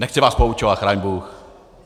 Nechci vás poučovat, chraň bůh.